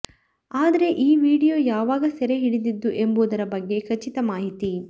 ಆದ್ರೆೆ ಈ ವಿಡಿಯೊ ಯಾವಾಗ ಸೆರೆ ಹಿಡಿದಿದ್ದು ಎಂಬುದರ ಬಗ್ಗೆೆ ಖಚಿತ ಮಾಹಿತಿ